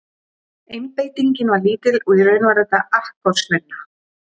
Einbeitingin var lítil og í raun var þetta akkorðsvinna.